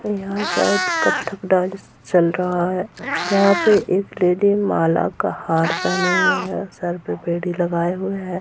यहाँ शायद कत्थक डांस चल रहा है जहाँ पे एक लेडी माला का हार पहने हुए है सर पे बेड़ी लगाये हुए है।